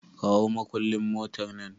Kawo makullin motar nan!